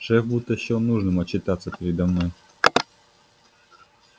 шеф будто счёл нужным отчитаться передо мной